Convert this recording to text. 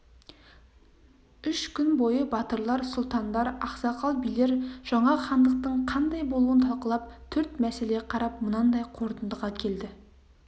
үш күн бойы батырлар сұлтандар ақсақал билер жаңа хандықтың қандай болуын талқылап төрт мәселе қарап мынандай қортындыға келді